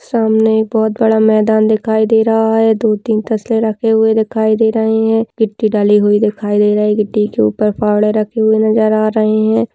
सामने एक बहुत बड़ा मैदान दिखाई दे रहा है दो तीन तस्ले रखे हुए दिखाई दे रहे हैं गिट्टी डाली हुई दिखाई दे रही है गिट्टी के ऊपर फावड़े रखे हुए नजर आ रहे है।